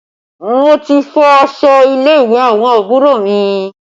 Mo ti fọ aṣọ ilé ìwé àwọn àbúrò mi